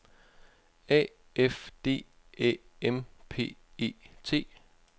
A F D Æ M P E T